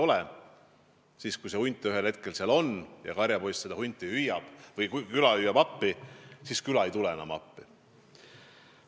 Ühel hetkel aga hunt oligi seal ja kui karjapoiss jälle küla appi hüüdis, siis keegi enam ei läinud.